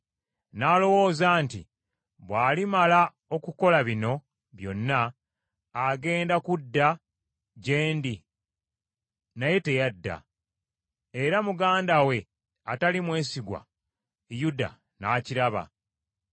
Nalowooza nti, Bw’alimala okukola bino byonna agenda kudda gye ndi naye teyadda, era muganda we atali mwesigwa Yuda n’akiraba.